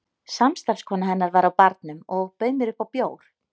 Samstarfskona hennar var á barnum og bauð mér upp á bjór.